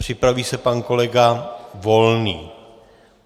Připraví se pan kolega Volný.